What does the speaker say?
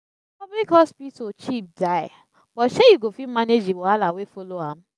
public hospital cheap die but shey yu go fit manage di wahala wey follow am